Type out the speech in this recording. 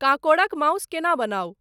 काँकोड़क mouse केना बनाउ ?